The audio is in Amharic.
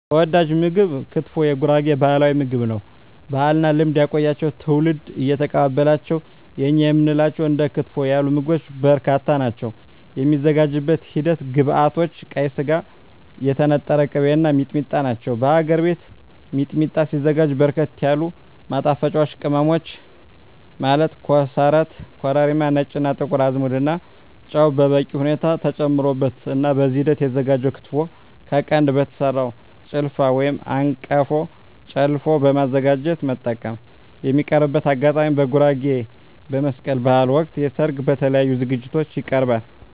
ተወዳጅ ምግብ ክትፎ የጉራጌ ባህላዊ ምግብ ነው። ባህልና ልማድ ያቆያቸው ትውልድ እየተቀባበላቸው የእኛ የምንላቸው እንደ ክትፎ ያሉ ምግቦች በርካታ ናቸው። የሚዘጋጅበት ሂደት ግብዐቶች ቀይ ስጋ, የተነጠረ ቅቤ , እና ሚጥሚጣ ናቸው። በሀገር ቤት ሚጥሚጣ ሲዘጋጅ በርከት ያሉ ማጣፈጫወች ቅመሞች ማለት ኮሰረት , ኮረሪማ , ነጭ እና ጥቁር አዝሙድ እና ጨው በበቂ ሁኔታ ተጨምሮበት ነው። በዚህ ሂደት የተዘጋጀው ክትፎ ከቀንድ በተሰራው ጭልፋ/አንቀፎ ጨለፎ በማዘጋጀት መጠቀም። የሚቀርብበት አጋጣሚ በጉራጌ በመስቀል በሀል ወቅት, በሰርግ እና በተለያዪ ዝግጅቶች ይቀርባል።።